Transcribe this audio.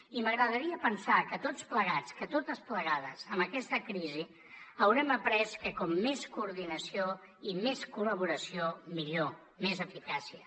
i m’agradaria pensar que tots plegats que totes plegades amb aquesta crisi haurem après que com més coordinació i més col·laboració millor més eficàcia